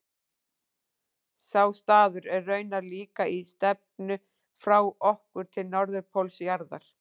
Sá staður er raunar líka í stefnu frá okkur til norðurpóls jarðar.